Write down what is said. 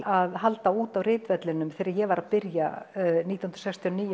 að halda út á ritvellinum þegar ég var að byrja nítján hundruð sextíu og níu